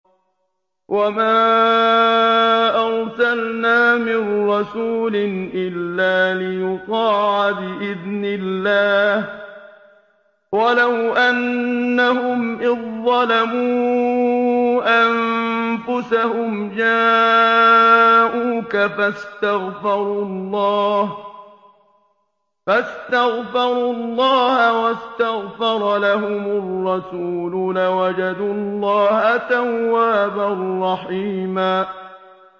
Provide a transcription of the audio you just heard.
وَمَا أَرْسَلْنَا مِن رَّسُولٍ إِلَّا لِيُطَاعَ بِإِذْنِ اللَّهِ ۚ وَلَوْ أَنَّهُمْ إِذ ظَّلَمُوا أَنفُسَهُمْ جَاءُوكَ فَاسْتَغْفَرُوا اللَّهَ وَاسْتَغْفَرَ لَهُمُ الرَّسُولُ لَوَجَدُوا اللَّهَ تَوَّابًا رَّحِيمًا